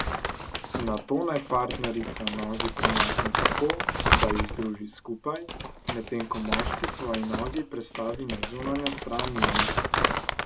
Nato naj partnerica nogi premakne tako, da ju združi skupaj, medtem ko moški svoji nogi prestavi na zunanjo stran njenih.